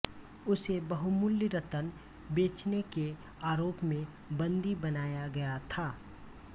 उसे बहुमूल्य रत्न बेचने के आरोप में बन्दी बनाया गया था